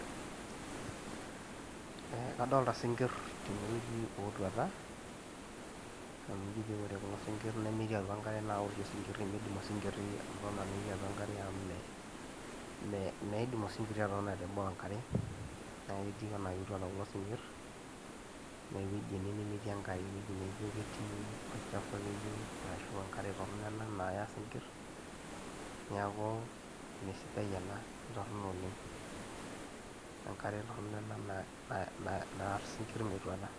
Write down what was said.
Ee kadolta sinkir tene wueji ootuata amu iji dii ore kulo sinkir emetii atua enkare naa ore oshi osinkiri miidim osinkiri atotona metii atua enkare amu me me meidim osinkiri atotona te boo enkare, naake etiu enaa ketuata kulo sinkir nee ewueji ena nemetii enkare ewueji naijo ketii olchafu akeyie arashu enkare torono ena naaya isinkir. Neeku mee sidai ena torono oleng', enkare torono ena na na naar isinkir metuata.